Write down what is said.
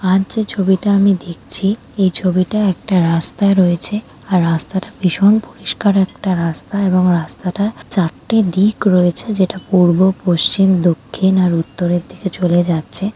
আজ যে ছবিটা আমি দেখছি এই ছবিটা একটা রাস্তায় রয়েছে আর রাস্তাটা ভীষণ পরিষ্কার একটা রাস্তা এবং রাস্তাটা চারটে দিক রয়েছে যেটা পূব পশ্চিম দক্ষিণ আর উত্তরের দিকে চলে যাচ্ছে ।